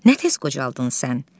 Nə tez qocaldın sən?